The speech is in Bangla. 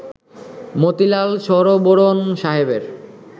মতিলাল শরবোরণ সাহেবের